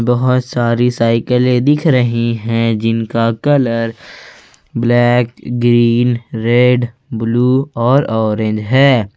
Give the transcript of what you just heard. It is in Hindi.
बहुत सारी साइकिले दिख रही है जिनका colour black green red blue और ऑरेंज है।